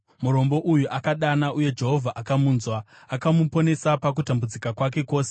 Murombo uyu akadana, uye Jehovha akamunzwa; akamuponesa pakutambudzika kwake kwose.